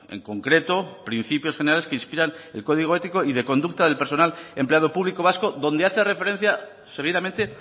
en concreto principios generales que inspiran el código ético y de conducta del personal empleado público vasco donde hace referencia seguidamente